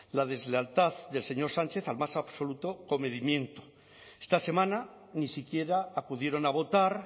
la deslealtad del señor sánchez al más absoluto comedimiento esta semana ni siquiera acudieron a votar